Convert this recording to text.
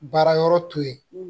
Baara yɔrɔ to yen